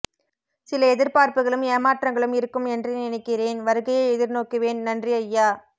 சில எதிர்பார்ப்புகளும் ஏமாற்றங்களும் இருக்கும் என்றே நினைக்கிறேன் வருகையை எதிர் நோக்குவேன் நன்றி ஐயா